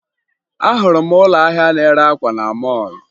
Ahụrụ m ụlọ ahịa na-ere akwa na mọọlụ